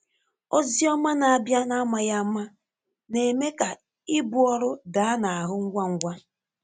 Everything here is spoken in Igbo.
Ózì ọ̀má na-abịa n’ámàghị áma na-eme ka ìbú ọrụ dàá n’áhụ ngwa ngwa.